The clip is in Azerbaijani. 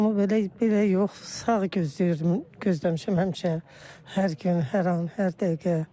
Mən onu belə, belə yox, sağ gözləyirdim, gözləmişəm həmişə hər gün, hər an, hər dəqiqə.